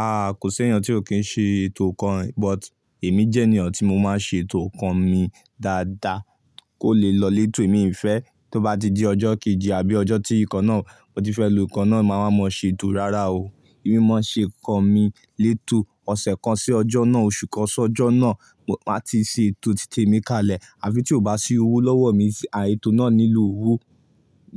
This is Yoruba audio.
Ah, kò sí ẹeyan tí ò kí ń ṣe ètò nìkan rè, but èmi jẹ́ ènìyàn tí mo máa ń ṣe ètò nǹkan mi dáadáa kó le lọ létò. Mi fẹ́ tó bá ti di ọjọ́ kejì àbí ọjọ́ tí nkan náà mo ti fẹ́ lo nkan náà, màá wa mọ ṣe ètò rara o. Èmi máa nṣe nǹkan mi létò ọ̀sẹ̀ kan sí ọjọ́ náà, oṣù kan sí ọjọ́ náà, máa ti ṣe ètò tí tèmi kalẹ̀. Àfi tí ó bá sí owo lọ́wọ́ mi, ànd ètò náà nílò owú